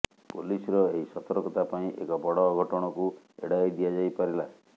ପୋଲିସର ଏହି ସତର୍କତା ପାଇଁ ଏକ ବଡ ଅଘଟଣକୁ ଏଡାଇ ଦିଆଯାଇପାରିଲା